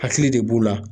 Hakili de b'u la